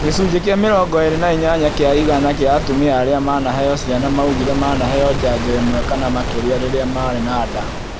Gĩcunjĩ kĩa mĩrongo ĩĩrĩ na inyanya kĩa ĩgana kĩa atumia arĩa manaheo ciana maugire manaheo njanjo ĩmwe kana makĩria rĩrĩa marĩ na nda